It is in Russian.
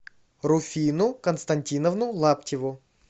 руфину константиновну лаптеву